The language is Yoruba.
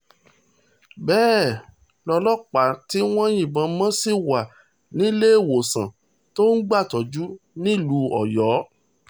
bẹ́ẹ̀ lọ́lọ́pàá tí wọ́n yìnbọn mo ṣì wà níléemọ̀sán tó ti ń gbàtọ́jú nílùú ọ̀yọ́